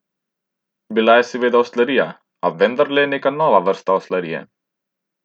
Bila je seveda oslarija, a vendarle neka nova vrsta oslarije.